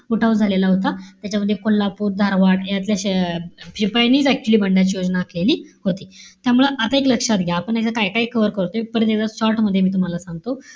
उठाव झालेला होता. त्याच्यामध्ये कोल्हापूर, धारवाड, यातल्या अं शिपायांनीच actually इथल्या बंडाची योजना केली होती. त्यामुळं आता एक लक्षात घ्या, आपण आता काय-काय cover करतोय? परत एकदा short मध्ये मी तुम्हाला सांगतो.